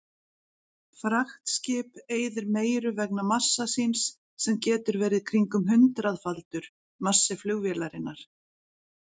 Fraktskip eyðir meiru vegna massa síns sem getur verið kringum hundraðfaldur massi flugvélarinnar.